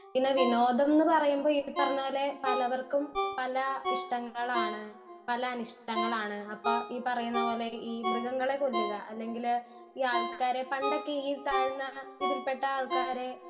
speaker 1 പിന്നെ വിനോദം ന്ന് പറയുമ്പോ ഈ പറഞ്ഞ പോലെ പലവർക്കും പല ഇഷ്‌ട്ടങ്ങളാണ് പല അനിഷ്ട്ടങ്ങളാണ് അപ്പൊ ഈ പറയ്ണ പോലെ ഈ മൃഗങ്ങളെ കൊല്ല്ക അല്ലെങ്കിൽ ഈ ആൾക്കാരെ പണ്ടൊക്കെ ഈ താഴ്ന്ന ഇതിൽ പെട്ട ആൾക്കാരെ